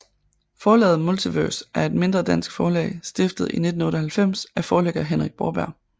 Forlaget Multivers er et mindre dansk forlag stiftet i 1998 af forlægger Henrik Borberg